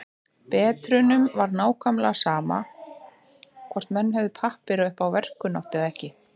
Bretunum var nákvæmlega sama hvort menn hefðu pappíra upp á verkkunnáttuna eða ekki.